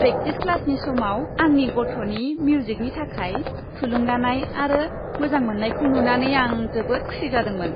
Practice क्लासनि समाव आंनि गथ'नि मिउजिकनि थाखाय थुलुंगानाय आरो मोजां मोन्नायखौ नुनानै आं जोबोद खुसि जादोंमोन।